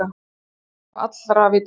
Það væri á allra vitorði.